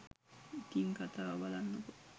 ඉතිං කතාව බලන්නකෝ.